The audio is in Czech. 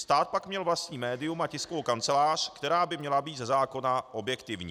Stát pak měl vlastní médium a tiskovou kancelář, která by měla být ze zákona objektivní.